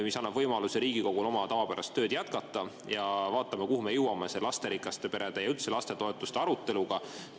See annab Riigikogule võimaluse oma tavapärast tööd jätkata, ja vaatame siis, kuhu me jõuame lasterikaste perede toetuse ja üldse lastetoetuste aruteluga.